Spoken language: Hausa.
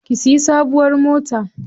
Ki siya sabuwar mota.